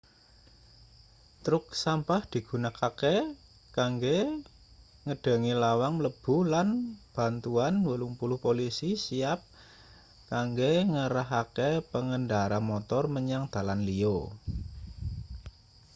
truk sampah digunakake kanggo ngedhangi lawang mlebu lan bantuan 80 polisi siap kanggo ngarahake pengendara motor menyang dalan liya